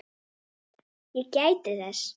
Ég gæti þess.